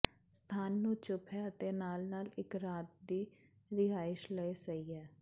ਸਥਾਨ ਨੂੰ ਚੁੱਪ ਹੈ ਅਤੇ ਨਾਲ ਨਾਲ ਇੱਕ ਰਾਤ ਦੀ ਰਿਹਾਇਸ਼ ਲਈ ਸਹੀ ਹੈ